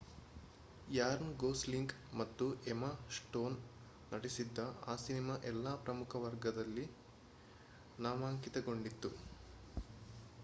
ran Gosling ಮತ್ತು Emma Stone ನಟಿಸಿದ್ದ ಆ ಸಿನೆಮಾ ಎಲ್ಲಾ ಪ್ರಮುಖ ವರ್ಗಗಳಲ್ಲಿ ನಾಮಾಂಕಿತಗೊಂಡಿತ್ತು